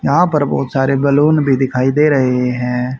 यहां पर बहुत सारे बैलून भी दिखाई दे रहे हैं।